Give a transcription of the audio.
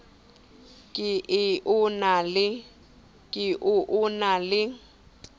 ke e o na le